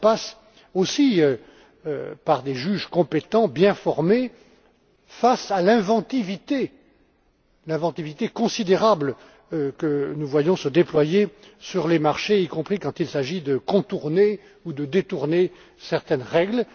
texte. Cela passe aussi par des juges compétents, bien formés, face à l'inventivité considérable que nous voyons se déployer sur les marchés, y compris quand il s'agit de contourner ou de détourner certaines